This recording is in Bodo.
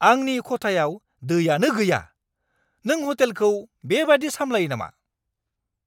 आंनि खथायाव दैयानो गैया! नों हटेलखौ बेबादि सामलायो नामा?